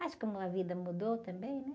Mas como a vida mudou também, né?